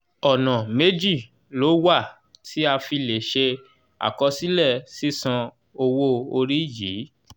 ọ̀nà méjì ló wà tí a fi lè ṣe akọsílẹ̀ sisan owo ori yi